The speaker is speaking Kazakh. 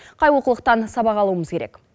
қай олқылықтан сабақ алуымыз керек